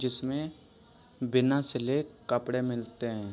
जिसमें बिना सिले कपड़े मिलते हैं।